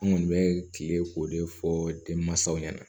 An kɔni bɛ kile k'o de fɔ denmansaw ɲɛna